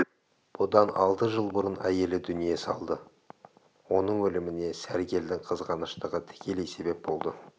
бұдан алты жыл бұрын әйелі дүние салды оның өліміне сәргелдің қызғаныштығы тікелей себеп болды